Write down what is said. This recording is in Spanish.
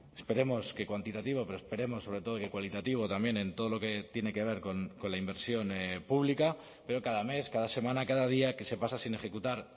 esperemos que cuantitativo pero esperemos sobre todo que cualitativo también en todo lo que tiene que ver con la inversión pública pero cada mes cada semana cada día que se pasa sin ejecutar